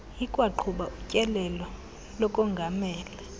ikwaqhuba utyelelo lokongamela